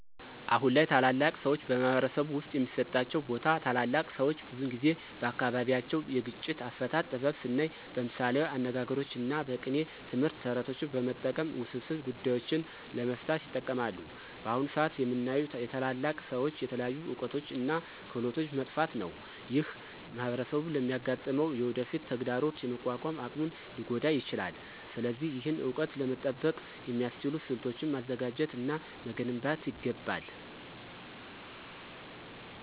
አሁን ላይ ታላላቅ ሰዎች በማኅበረሰብ ውስጥ የሚሰጣቸው ቦታ ታላላቅ ሰዎች ብዙውን ጊዜ በአካባቢያቸው የግጭት አፈታት ጥበብ ስናይ በምሳሌያዊ አነጋግሮች እና በቅኔ ትምህርት፣ ተረቶችን በመጠቀም ውስብስብ ጉዳዮችን ለመፍታት ይጠቀማሉ። በአሁን ሰአት የምናየው የታላላቅ ሰዎች የተለያዩ እውቀቶች እና ክህሎቶች መጥፋት ነው። ይህ ማኅበረሰቡ ለሚያጋጥመው የወደፊት ተግዳሮት የመቋቋም አቅሙን ሊጎዳ ይችላል። ስለዚህ ይህን እውቀት ለመጠበቅ የሚያስችሉ ስልቶችን ማዘጋጀት እና መገንባት ይገባል።